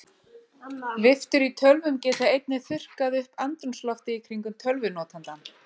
Viftur í tölvum geta einnig þurrkað upp andrúmsloftið í kringum tölvunotandann.